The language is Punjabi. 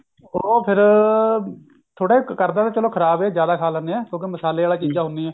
ਉਹ ਫੇਰ ਥੋੜਾ ਚਲੋ ਕਰਦਾ ਤਾਂ ਖ਼ਰਾਬ ਹੈ ਜਿਆਦਾ ਖਾ ਲਿੰਦੇ ਆ ਕਿਉਂਕਿ ਥੋੜਾ ਮਸਾਲੇ ਆਲੀ ਚੀਜਾਂ ਹੁੰਦਿਆ ਨੇ